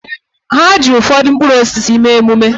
Ha ji ụfọdụ mkpụrụ osisi mee emume